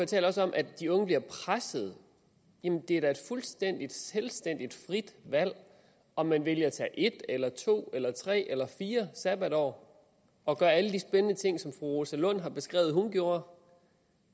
taler også om at de unge bliver presset jamen det er da et fuldstændig selvstændigt frit valg om man vælger at tage et eller to eller tre eller fire sabbatår og gøre alle de spændende ting som fru rosa lund har beskrevet hun gjorde